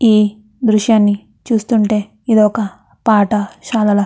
ఈ దృశ్యాన్ని చూస్తుంటే ఇది ఒక పాఠ శాలలా --